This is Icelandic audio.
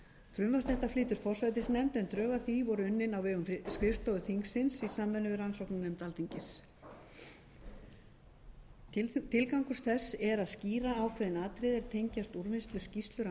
flytur forsætisnefnd en drög að því voru unnin á vegum skrifstofu þingsins í samvinnu við rannsóknarnefnd alþingis tilgangur þess er að skýra ákveðin atriði er tengjast úrvinnslu skýrslu rannsóknarnefndarinnar